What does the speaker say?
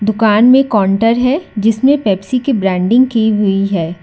दुकान में काउंटर है जिसमें पेप्सी की ब्रांडिंग की हुई है।